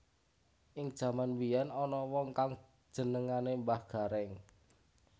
Ing jaman mbiyén ana wong kang jenengané Mbah Garéng